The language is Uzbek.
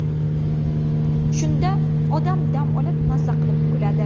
Shunda odam dam olib, maza qilib kuladi.